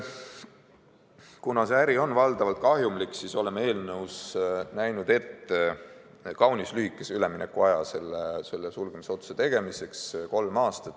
Kuna see äri on valdavalt kahjumlik, siis oleme eelnõus näinud ette kaunis lühikese üleminekuaja sulgemisotsuse tegemiseks: kolm aastat.